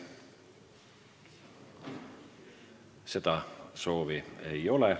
Seda soovi ei ole.